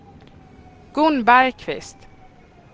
Gun Bergkvist